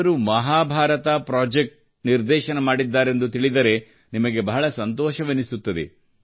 ಇವರು ಮಹಾಭಾರತ್ ಪ್ರಾಜೆಕ್ಟ್ ನಿರ್ದೇಶನ ಮಾಡಿದ್ದಾರೆಂದು ತಿಳಿದರೆ ನಿಮಗೆ ಬಹಳ ಸಂತೋಷವೆನಿಸುತ್ತದೆ